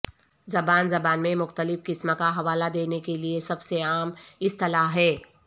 زبان زبان میں مختلف قسم کا حوالہ دینے کے لئے سب سے عام اصطلاح ہے